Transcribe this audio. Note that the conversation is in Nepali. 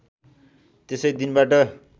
त्यसै दिनबाट